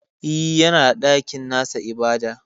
E, yana da nasa ɗakin ibada.